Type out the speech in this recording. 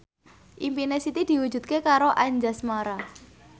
impine Siti diwujudke karo Anjasmara